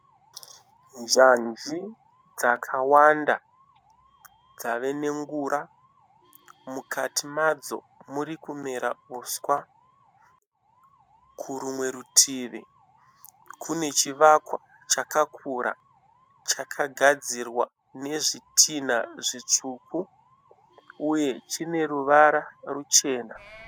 Nyanji dzakawanda dzave nengura, mukati madzo muri kumera uswa. Kurumwe rutivi kune chivakwa chakakura chakagadzirwa nezvitinha zvitsvuku uye chine ruvara ruchena.